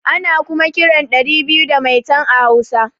Ana kuma kiran ɗari biyu da maitan a hausa